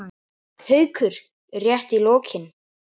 Haukur: Rétt í lokin.